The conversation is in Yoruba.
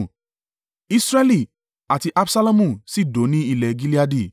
Israẹli àti Absalomu sì dó ní ilẹ̀ Gileadi.